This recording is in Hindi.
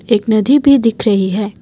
एक नदी भी दिख रही है।